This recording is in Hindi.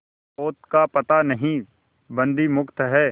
पोत का पता नहीं बंदी मुक्त हैं